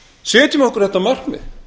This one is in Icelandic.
setjum okkur þetta markmið